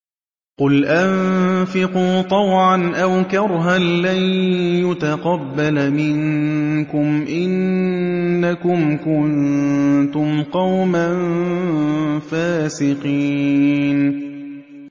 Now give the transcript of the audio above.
قُلْ أَنفِقُوا طَوْعًا أَوْ كَرْهًا لَّن يُتَقَبَّلَ مِنكُمْ ۖ إِنَّكُمْ كُنتُمْ قَوْمًا فَاسِقِينَ